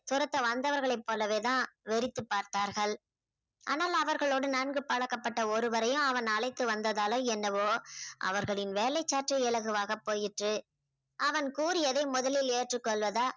துரத்த வந்தவர்களைப் போலவே தான் வெறித்து பார்த்தார்கள். ஆனால் அவர்களோடு நன்கு பழக்கப்பட்ட ஒருவரையும் அவன் அழைத்து வந்ததால என்னவோ அவர்களின் வேலை சற்று இலகுவாக போயிற்று. அவன் கூறியதை முதலில் ஏற்றுகொள்வதா